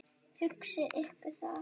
Hugsið ykkur það.